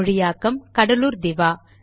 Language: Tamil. மொழியாக்கம் கடலூர் திவா